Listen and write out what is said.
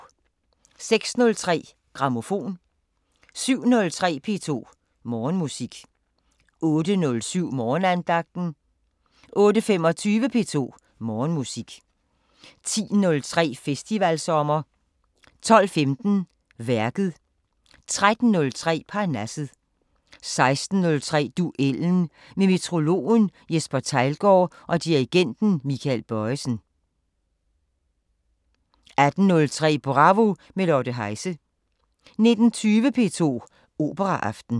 06:03: Grammofon 07:03: P2 Morgenmusik 08:07: Morgenandagten 08:25: P2 Morgenmusik 10:03: Festivalsommer 12:15: Værket 13:03: Parnasset 16:03: Duellen – med meteorologen Jesper Theilgaard og dirigenten Michael Bojesen 18:03: Bravo – med Lotte Heise 19:20: P2 Operaaften